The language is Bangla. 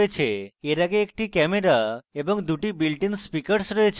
এর আগে একটি camera এবং দুটি built in speakers রয়েছে